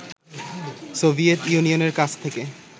Soviet ইউনিয়নের কাছ থেকে